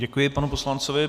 Děkuji panu poslanci.